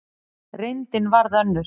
Reyndin varð önnur.